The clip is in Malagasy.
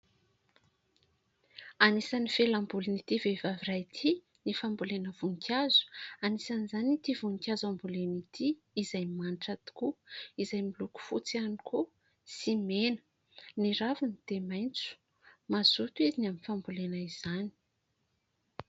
Anisan'ny fialambolin'ity vehivavy iray ity ny fambolena voninkazo. Anisan'izany ity voninkazo hamboleny ity izay manitra tokoa izay miloko fotsy ihany koa sy mena, ny raviny dia maitso ; mazoto izy ny amin'ny fambolena izany.